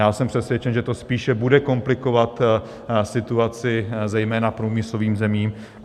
Já jsem přesvědčen, že to spíše bude komplikovat situaci zejména průmyslovým zemím.